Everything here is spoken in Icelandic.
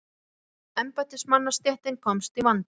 Spænska embættismannastéttin komst í vanda.